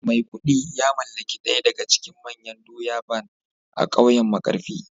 maikudu ya mallaki daya daga cikin manyan doya Barn a kauyen markafi